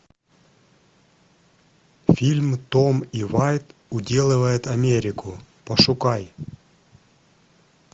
фильм том и вайт уделывают америку пошукай